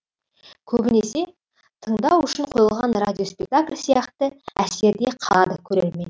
көбінесе тыңдау үшін қойылған радиоспектакль сияқты әсерде қалады көрермен